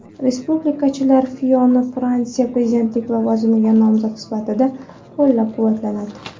Respublikachilar Fiyonni Fransiya prezidentlik lavozimiga nomzod sifatida qo‘llab-quvvatladi.